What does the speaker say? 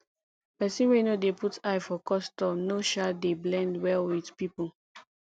pesin wey no dey put eye for custom no um dey blend well with pipo